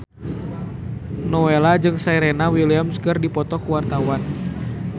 Nowela jeung Serena Williams keur dipoto ku wartawan